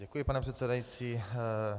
Děkuji, pane předsedající.